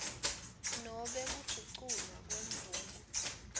nobe kuguculwa kwemvumo